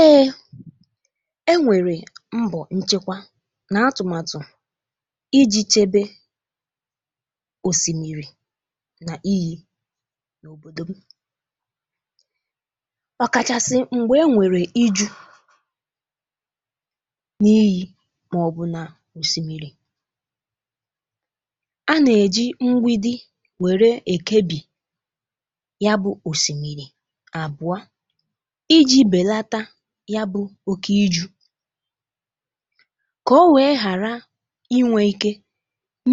Ee, e nwere mbọ nchekwa na atụmatụ iji chekwa osimiri na íyi n'obodo m ọ kachasị mgbe e nwere íjù n'iyi na osimiri. A na-eji mgbidi were ekebi ya bụ osimiri abụọ iji belata ya bụ oké ijù ka o wee ghara inwe ike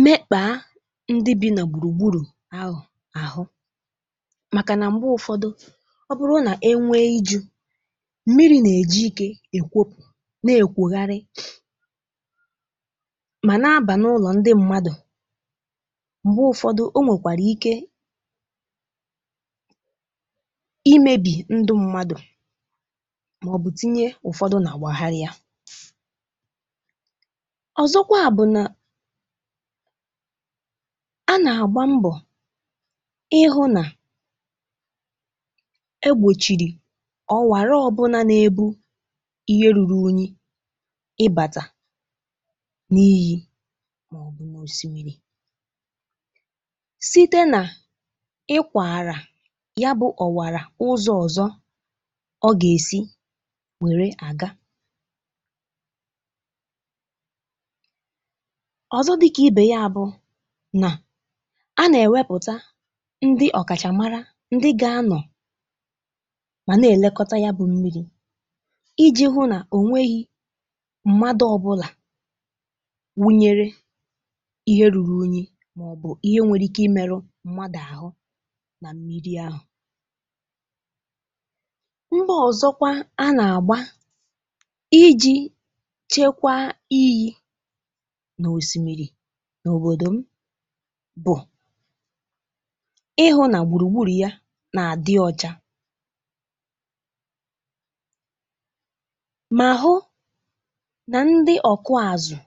mekpaa ndị bi na gburugburu ahụ ahụ makana mgbe ụfọdụ ọ bụrụ na e nwee iju, mmiri na-eji ike ekwopụ na-ekwogharị ma na-aba n'ụlọ ndị mmadụ. Mgbe ụfọdụ o nwekwara ike imebi ndụ mmadụ maọbụ tinye ụfọdụ na gbagharịa. Ọzọkwa bụ na a na-agba mbọ ịhụ na e gbochiri ọ́wara ọbụna na-ebu ihe ruru unyi ịbata n'iyi maọbụ n'Osimiri. Site na ịkwara ya bụ ọwara ụzọ ọzọ ọ ga-esi were aga. Ọzọ dị ka ibe ya bụ a na-ewepụta ndị ọkachamara ndị ga-anọ ma na-elekọta ya bụ mmiri iji hụ na o nweghi mmadụ ọbụla wụnyere ihe ruru unyi maọbụ ihe nwere ike imerụ mmadụ ahụ na mmiri ahụ. Mbọ ọzọkwa a na-agba iji chekwaa iyi na osimiri n'obodo m bụ ịhụ na gburugburu ya na-adị ọcha ma hụ na ndị ọkụ azụ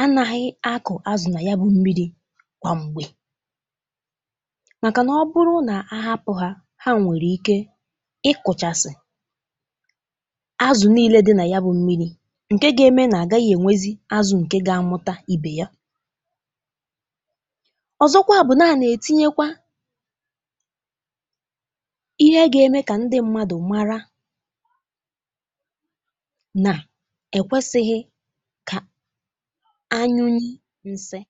anaghị akụ azụ na ya bụ mmiri kwa mgbe makana ọ bụrụ na a hapụ ha, ha nwere ike ịkụchasị azụ niile dị na ya bụ mmiri nke ga-eme na agaghị enwezi azụ nke ga-amụta ibe ya. Ọzọkwa bụ na a na-etinyekwa ihe ga-eme ka ndị mmadụ mara na ekwesịghị ka a nyụ nsị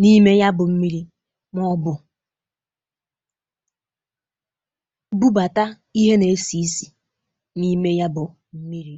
n'ime ya bụ mmiri maọbụ bubata ihe na-esi ísì n'ime ya bụ mmiri.